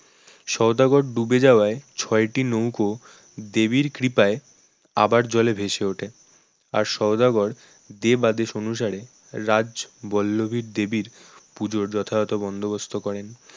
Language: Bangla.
সওদাগর ডুবে যাওয়ায় ছয়টি নৌকো দেবীর কৃপায় আবার জলে ভেসে ওঠে আর সওদাগর দেব আদেশ অনুসারে রাজবল্লভী দেবীর পুজোর যথাযথ বন্দোবস্ত করেন